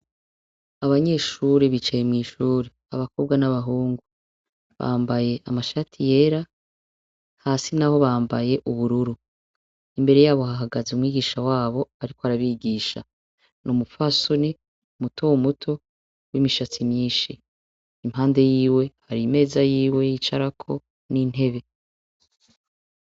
Abanyeshure bicaye mw'ishure. Abakobwa n'abahungu. Bambaye amashati yera, hasi naho bambaye ubururu. Imbere yabo hahagaze umwigisha wabo, ariko arabigisha. N'umupfasoni mutomuto, w'imishatsi myinshi. Impande yiwe hari imeza yiwe yicarako n'intebe.